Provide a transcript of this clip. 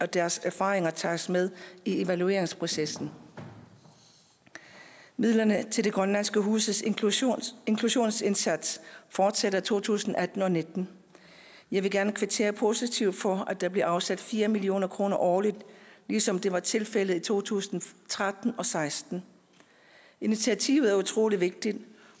deres erfaringer tages med i evalueringsprocessen midlerne til de grønlandske huses inklusionsindsats inklusionsindsats fortsætter i to tusind og atten og nitten jeg vil gerne kvittere positivt for at der bliver afsat fire million kroner årligt ligesom det var tilfældet i to tusind og tretten og seksten initiativet er utrolig vigtigt